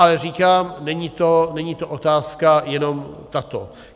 Ale říkám, není to otázka jenom tato.